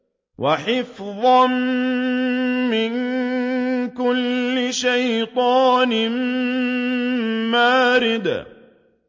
وَحِفْظًا مِّن كُلِّ شَيْطَانٍ مَّارِدٍ